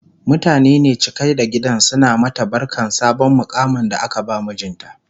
mutane ne cike da gidan suna mata barkan sabon muƙamin da aka ba mijinta